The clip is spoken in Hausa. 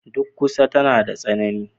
Duk ƙusa tana da tsini.